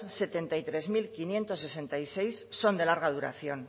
setenta y tres mil quinientos sesenta y seis son de larga duración